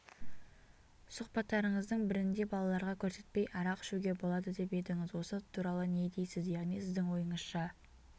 сұхбаттарыңыздың бірінде балаларға көрсетпей арақ ішуге болады деп едіңіз осы туралы не дейсіз яғни сіздің ойыңызша